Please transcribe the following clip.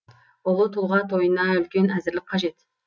ұлы тұлға тойына үлкен әзірлік қажет